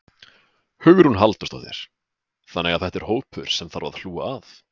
Hugrún Halldórsdóttir: Þannig að þetta er hópur sem að þarf að hlúa að?